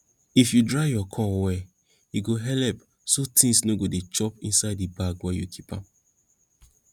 if you dry your corn well e go helep so tings no go dey chop inside the bag wen you keep am